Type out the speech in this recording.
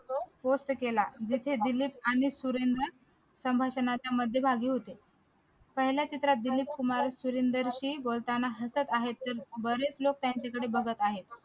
post केला जिथे दिलीप आणि सुरेनदर संभाषणाच्या मध्यभागी होते पहिल्या चित्रात दिलीप कुमार सुरेनदर ही बोलताना हसत आहेत बरेच लोक त्यांच्याकडे बघत आहेत